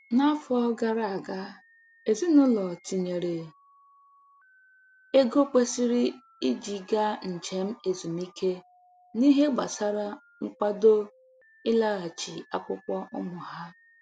N'afọ gara aga, ezinụlọ tinyere ego kwesịrị iji gaa njem ezumike n'ihe gbasara nkwado ịlaghachi akwụkwọ ụmụ ha